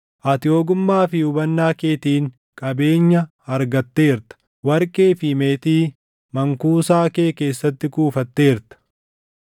Ati ogummaa fi hubannaa keetiin qabeenya argatteerta; warqee fi meetii mankuusaa kee keessatti kuufatteerta.